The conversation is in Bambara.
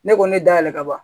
Ne ko ne da yɛlɛ ka ban